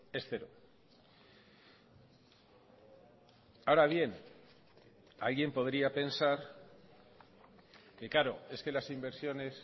es cero ahora bien alguien podría pensar que claro es que las inversiones